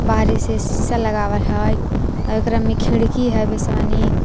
बाहरी से शीशा लगावल हइ आव एकरा में खिड़की हइ बेसे मनी।